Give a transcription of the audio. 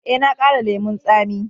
Eh, na ƙara lemun tsami.